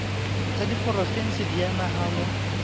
tsa diporofensi di a nahanwa